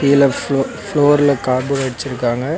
கீழ ஃபுளோ ஃப்ளோர்ல கார்டு வச்சுருக்காங்க.